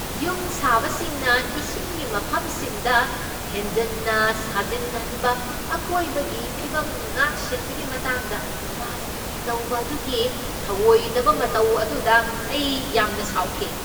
ꯌꯨꯝ ꯁꯥꯕꯁꯤꯡꯅ ꯏꯁꯤꯡꯒꯤ ꯃꯐꯝꯁꯤꯡꯗ ꯍꯦꯟꯖꯟꯅ ꯁꯥꯖꯤꯟꯍꯟꯕ ꯑꯀꯣꯏꯕꯒꯤ ꯐꯤꯚꯝ ꯉꯥꯛꯁꯦꯟꯕꯒꯤ ꯃꯇꯥꯡꯗ ꯔꯥꯖꯅꯤꯇꯤ ꯇꯧꯕ ꯑꯗꯨꯒꯤ ꯊꯧꯑꯣꯏꯗꯕ ꯃꯇꯧ ꯑꯗꯨꯗ ꯑꯩ ꯌꯥꯝꯅ ꯁꯥꯎꯈꯤ꯫